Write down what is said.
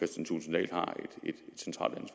har